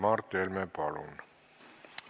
Mart Helme, palun!